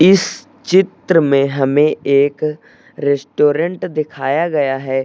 इस चित्र में हमें एक रेस्टोरेंट दिखाया गया है।